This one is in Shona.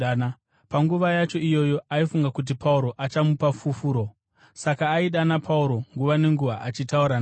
Panguva yacho iyoyo aifunga kuti Pauro achamupa fufuro, saka aidana Pauro nguva nenguva achitaura naye.